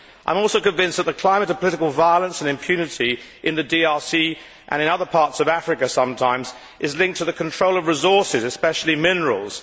I am also convinced that the climate of political violence and impunity in the DRC and in other parts of Africa sometimes is linked to the control of resources, especially minerals.